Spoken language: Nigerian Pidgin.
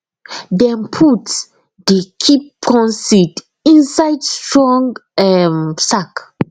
dem put dey keep corn seed inside strong um sack